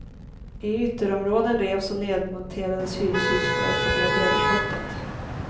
I ytterområden revs och nedmonterades hyreshus för att få ned överskottet.